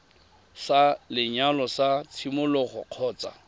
sa lenyalo sa tshimologo kgotsa